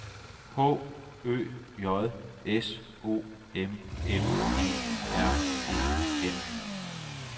H Ø J S O M M E R E N